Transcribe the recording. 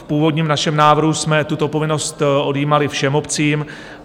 V původním našem návrhu jsme tuto povinnost odjímali všem obcím.